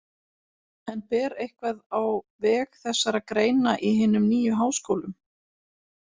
En ber eitthvað á veg þessara greina í hinum nýju háskólum?